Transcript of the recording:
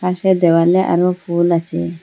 পাশের দেওয়ালে আরও ফুল আছে।